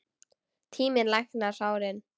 Tíminn læknar sárin.